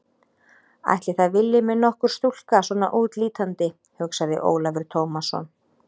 Ætli það vilji mig nokkur stúlka svona útlítandi, hugsaði Ólafur Tómasson.